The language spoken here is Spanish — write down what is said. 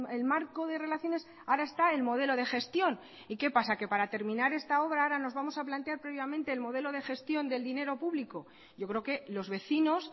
el marco de relaciones ahora está el modelo de gestión y qué pasa que para terminar esta obra ahora nos vamos a plantear previamente el modelo de gestión del dinero público yo creo que los vecinos